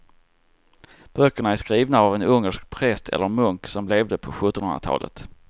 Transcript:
Böckerna är skrivna av en ungersk präst eller munk som levde på sjuttonhundratalet.